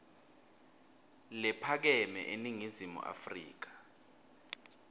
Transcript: lephakeme eningizimu afrika